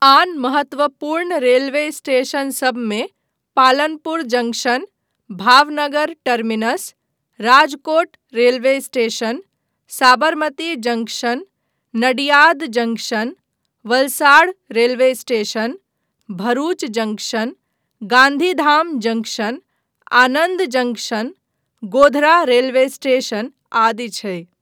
आन महत्त्वपूर्ण रेलवे स्टेशनसभमे Palanpur junction, Bhavnagar terminus, Rajkot railway station, Sabarmati junction, Nadiad junction, Valsad railway station, Bharuch junction, Gandhidham junction, Anand junction, Godhra railway station आदि छै।